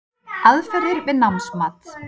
Aðferðir við námsmat